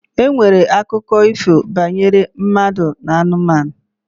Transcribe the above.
E nwere akụkọ ifo banyere mmadụ na anụmanụ.